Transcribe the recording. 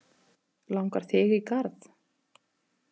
Langar þig í garð?